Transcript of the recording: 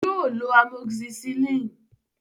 Yóò lo amoxicillin.